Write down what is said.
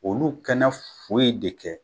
Olu kɛ na foyi de kɛ